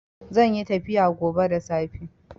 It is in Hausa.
Zanyi tafiya gobe da safe